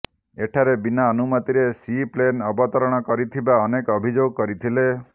ଏଠାରେ ବିନା ଅନୁମତିରେ ସି ପ୍ଲେନ ଅବତରଣ କରିଥିବା ଅନେକ ଅଭିଯୋଗ କରିଥିଲେ